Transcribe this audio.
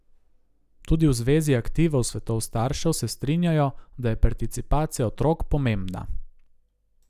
Tudi v zvezi aktivov svetov staršev se strinjajo, da je participacija otrok pomembna.